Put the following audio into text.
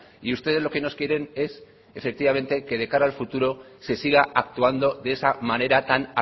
y ustedes lo que nos quieren es efectivamente que de cara al futuro se siga actuando de esa manera tan